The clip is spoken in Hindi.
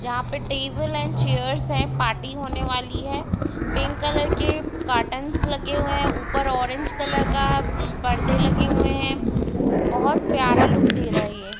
जहाँ पे टेबल एंड चेयर्स है पार्टी होने वाली हैपिंक कलर कॉटन लगे हुए हैऊपर ऑरेंज कलर का परदे लगे हुए है बहुत प्यारा लुक दे रहा है ये।